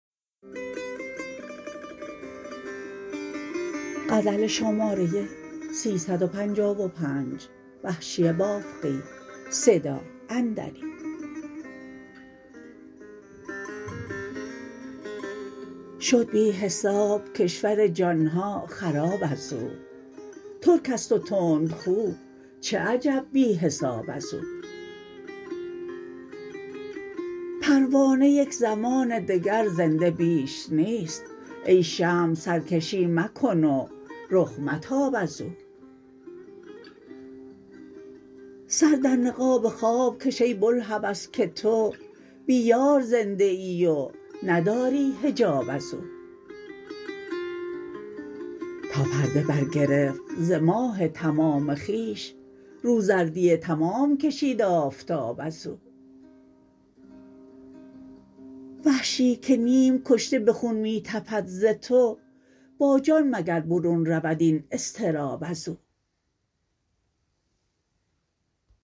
شد بی حساب کشور جانها خراب از او ترک است و تندخو چه عجب بی حساب از او پروانه یک زمان دگر زنده بیش نیست ای شمع سرکشی مکن و رخ متاب از او سر در نقاب خواب کش ای بلهوس که تو بی یار زنده ای و نداری حجاب از او تا پرده برگرفت ز ماه تمام خویش رو زردی تمام کشید آفتاب از او وحشی که نیم کشته به خون می تپد ز تو با جان مگر برون رود این اضطراب از او